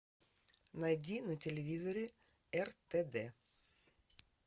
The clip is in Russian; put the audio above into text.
найди на телевизоре ртд